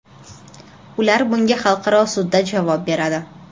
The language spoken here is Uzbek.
Ular bunga xalqaro sudda javob beradi.